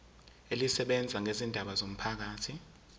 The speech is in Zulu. elisebenza ngezindaba zomphakathi